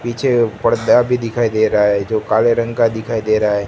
पीछे पर्दा भी दिखाई दे रहा है जो काले रंग का दिखाई दे रहा--